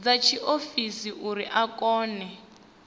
dza tshiofisi uri a kone